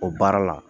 O baara la